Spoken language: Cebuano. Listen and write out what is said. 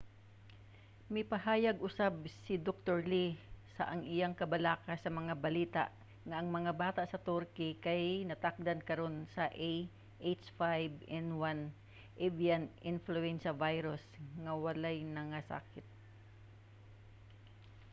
mipahayag usab si dr. lee sa ang iyang kabalaka sa mga balita nga ang mga bata sa turkey kay natakdan karon sa ah5n1 avian influenza virus nga wala nangasakit